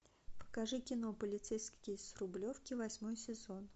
покажи кино полицейский с рублевки восьмой сезон